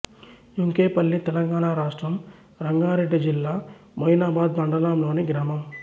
యెంకేపల్లి తెలంగాణ రాష్ట్రం రంగారెడ్డి జిల్లా మొయినాబాద్ మండలంలోని గ్రామం